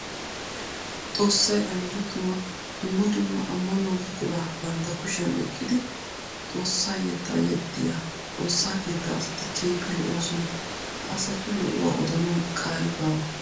Xoosay anjjo tuma! Dumma dumma amanuwa buqura bantta kushiyan oyqiddi xoosa yetta yexxiya xoosa keetta asatti keehippe lo'osonna. Ha asatti lo'uwa odanawu qaali baawa.